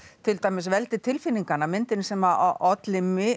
til dæmis veldi tilfinninganna myndin sem að olli